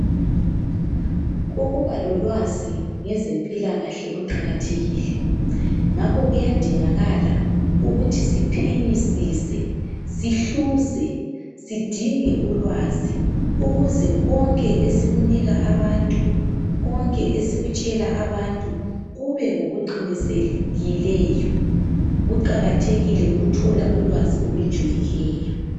Ukubalolwaz ngezempilakahle kuqakathekile ngakho kuyadingakala ukuthi siphenyisise sihluze sidinge ulwazi ukuze konke esikunika abantu konke esikutshela abantu kubengokuqinisekileyo kuqakathekile ukuthola ulwaz olujulileyo